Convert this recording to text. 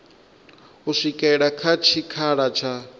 u swikela kha tshikhala tsha